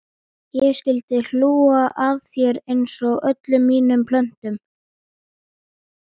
Ég skyldi hlú að þér einsog öllum mínum plöntum.